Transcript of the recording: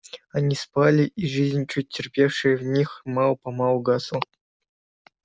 они спали и жизнь чуть терпевшая в них мало помалу гасла